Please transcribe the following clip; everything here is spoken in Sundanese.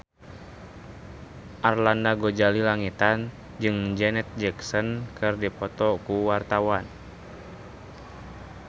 Arlanda Ghazali Langitan jeung Janet Jackson keur dipoto ku wartawan